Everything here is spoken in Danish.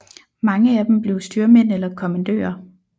Mange af dem blev styrmænd eller kommandører